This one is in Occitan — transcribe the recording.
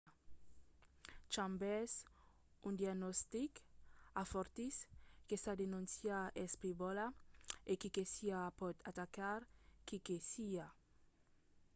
chambers un agnostic afortís que sa denóncia es frivòla e qui que siá pòt atacar qui que siá.